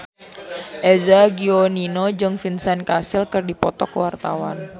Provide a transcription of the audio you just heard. Eza Gionino jeung Vincent Cassel keur dipoto ku wartawan